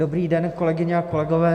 Dobrý den, kolegyně a kolegové.